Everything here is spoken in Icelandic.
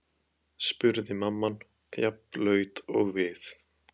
spurði mamman, jafn blaut og við.